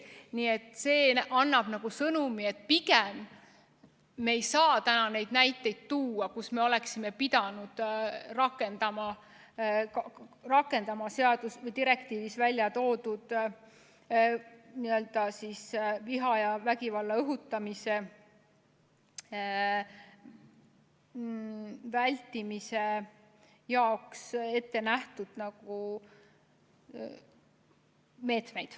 Nii et see annab sõnumi, et pigem me ei saa täna neid näiteid tuua, kus me oleksime pidanud rakendama seaduses või direktiivis välja toodud viha ja vägivalla õhutamise vältimise jaoks ette nähtud meetmeid.